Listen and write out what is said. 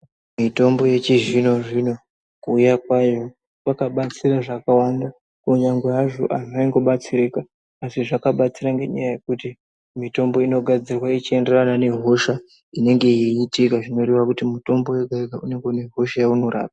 Mitombo yechizvino zvino Kuuya kwyo kwakabatsira zvakawanda kunyangwe hazvo antu obatsirika asi zvakabatsira ngenyaya yekuti mitombo inogadzirwa ichienderana nehosha Inenge yeitira zvinotaura kuti mutombo wega wega unenge une hosha waunorapa.